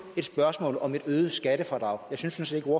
et spørgsmål om et øget skattefradrag jeg synes ikke